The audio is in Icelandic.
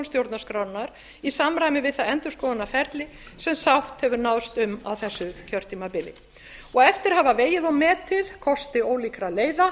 stjórnarskrárinnar í samræmi við það endurskoðunarferli sem sátt hefur náðst um á þessu kjörtímabili eftir að hafa vegið og metið kosti ólíkra leiða